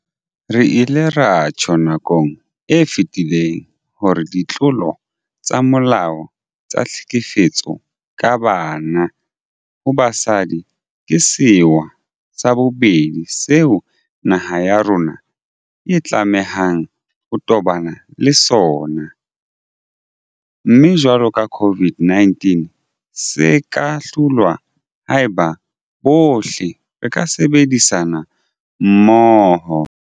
Re ile ra tjho nakong e fetileng hore ditlolo tsa molao tsa tlhekefetso ka banna ho basadi ke sewa sa bobedi seo naha ya rona e tlamehang ho tobana le sona, mme jwalo ka COVID-19 se ka hlolwa haeba bohle re ka sebedisana mmoho.